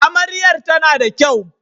Amaryar tana da kyau